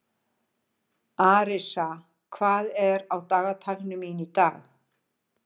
Arisa, hvað er á dagatalinu mínu í dag?